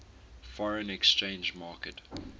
foreign exchange market